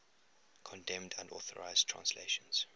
condemned unauthorized translations